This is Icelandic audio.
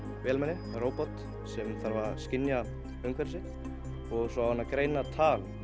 vélmenni eða róbot sem þarf að skynja umhverfi sitt og svo á hann að greina tal